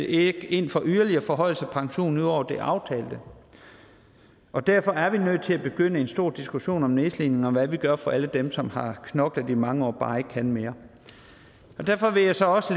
ikke ind for yderligere forhøjelse af pensionen ud over det aftalte og derfor er vi nødt til at begynde en stor diskussion om nedslidning og hvad vi gør for alle dem som har knoklet i mange år og bare ikke kan mere derfor vil jeg så også